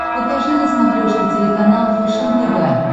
покажи на смотрешке телеканал фэшен тв